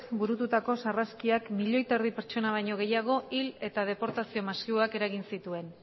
burututako sarraskiak milioi terdi pertsona baino gehiago hil eta deportazio masiboak eragin zituen